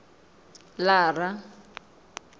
lara